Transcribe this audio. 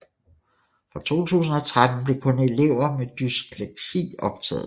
Fra 2013 blev kun elever med dysleksi optaget